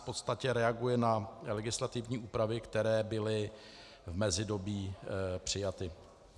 V podstatě reaguje na legislativní úpravy, které byly v mezidobí přijaty.